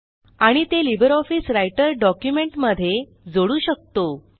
आणि ते LibreOffice Writer document मध्ये जोडू शकतो